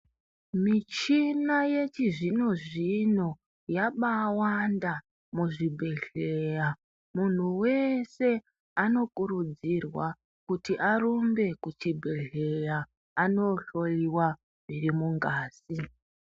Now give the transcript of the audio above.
Michina yechizvino zvino yabawanda muzvibhedhleya munhu wese anokurudzirwa kuti arumbe kuchibhedhleya anohloyiwa zviri mungazi